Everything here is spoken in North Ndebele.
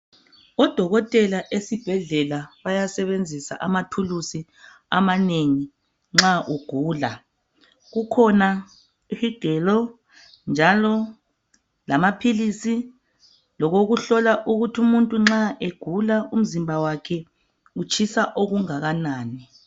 Odokotela esibhedlela bayasebenzisa amathulusi amanengi nxa ugula. Kukhona isigelo njalo lamaphilisi lokokuhlola ukuthi uumuntu nxa egula umzimba wakhe utshisa okungakanani.